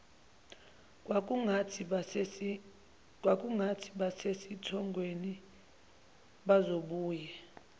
kwakungathi basesithongweni bazobuye